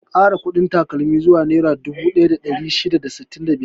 An kara kuɗin takalmin zuwa nera dubu ɗaya da ɗari shida da sittin da biyar.